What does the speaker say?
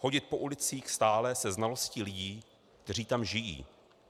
Chodit po ulicích stále se znalostí lidí, kteří tam žijí.